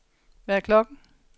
Hvad er klokken